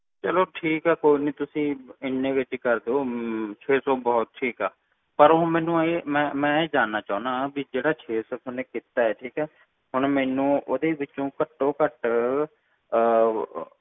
ਚਲੋ ਠੀਕ ਏ ਕੋਈ ਨਾ ਤੁਸੀਂ ਹਨ ਵਿਚ ਹੀ ਕਰ ਦੋ ਛੇ ਸੌ ਬਹੁਤ ਠੀਕ ਆ ਪਾਰ ਮੈਂ ਇਹ ਜਾਣਨਾ ਚਾਹੁਣਾ ਜਿਹੜਾ ਛੇ ਸੌ ਤੁਸੀਂ ਕੀਤਾ ਹੈ ਠੀਕ ਹੈ ਹੁਣ ਮੈਨੂੰ ਓਹਦੇ ਵਿੱਚੋ ਘਟੋਂ ਘਟ